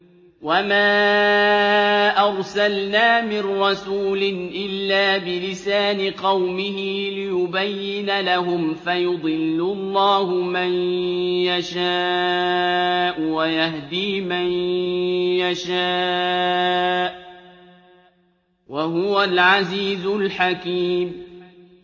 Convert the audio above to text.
وَمَا أَرْسَلْنَا مِن رَّسُولٍ إِلَّا بِلِسَانِ قَوْمِهِ لِيُبَيِّنَ لَهُمْ ۖ فَيُضِلُّ اللَّهُ مَن يَشَاءُ وَيَهْدِي مَن يَشَاءُ ۚ وَهُوَ الْعَزِيزُ الْحَكِيمُ